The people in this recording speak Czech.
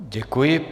Děkuji.